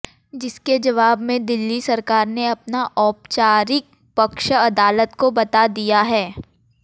जिसके जवाब में दिल्ली सरकार ने अपना औपचारिक पक्ष अदालत को बता दिया है